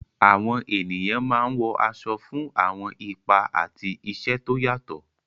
Àwọn ènìyàn máa ń wọ aṣọ fún àwọn ipa àti iṣẹ́ tó yàtọ̀.